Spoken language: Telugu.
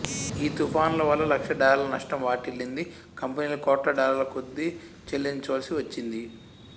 ఈ తుఫానువల్ల లక్షల డాలర్ల నష్టం వాటిల్లింది కంపెనీలు కోట్లడాలర్ల కొద్దీ చెల్లించవలసి వచ్చింది